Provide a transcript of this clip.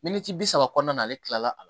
Miniti bi saba kɔnɔna na ale tilala a la